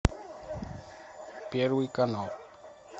первый канал